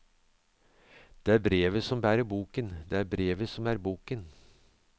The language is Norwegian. Det er brevet som bærer boken, det er brevet som er boken.